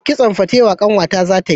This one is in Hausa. Kitson fatewo ƙanwa ta za ta yi